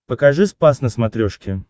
покажи спас на смотрешке